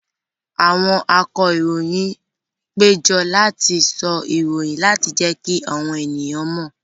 Àwọn akọròyìn péjọ láti sọ ìròyìn láti jẹ́kí àwọn èèyàn mọ̀